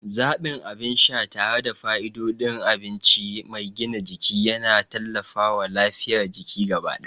Zaɓin abin sha tare da fa'idodin abinci mai gina jiki yana tallafawa lafiyar jiki gaba ɗaya.